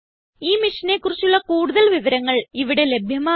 ഈ മിഷനെ കുറിച്ചുള്ള കുടുതൽ വിവരങ്ങൾ ഇവിടെ ലഭ്യമാണ്